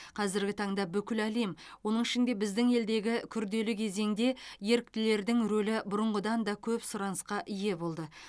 қазіргі таңда бүкіл әлем оның ішінде біздің елдегі күрделі кезеңде еріктілердің рөлі бұрынғыдан да көп сұранысқа ие болды